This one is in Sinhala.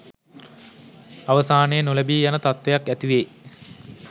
අවසානයේ නොලැබී යන තත්ත්වයක් ඇතිවේ.